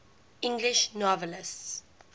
english novelists